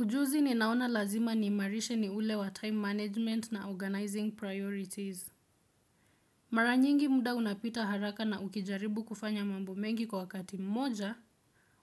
Ujuzi ninaona lazima niimarishe ni ule wa time management na organizing priorities. Mara nyingi muda unapita haraka na ukijaribu kufanya mambo mengi kwa wakati mmoja